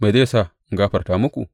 Me zai sa in gafarta muku?